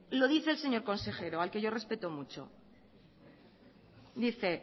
lo dice el señor consejero al que yo respeto mucho dice